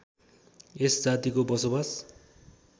यस जातिको बसोवास